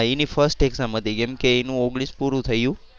એની first exam હતી કેમ કે એનું ઓગણીસ પૂરું થયું